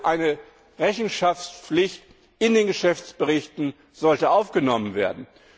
Eine Rechenschaftspflicht in den Geschäftsberichten sollte also aufgenommen werden.